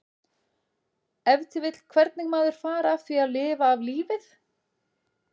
Ef til vill hvernig maður fari að því að lifa af lífið?